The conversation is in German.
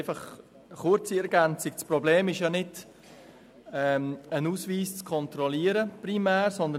Eine kurze Ergänzung: Das Problem ist nicht primär die Kontrolle eines Ausweises.